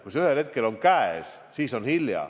Kui see ühel hetkel käes on, on hilja.